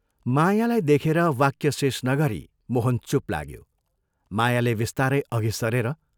मायालाई देखेर वाक्य शेष नगरी मोहन चूप लाग्यो मायाले बिस्तारै अघि सरेर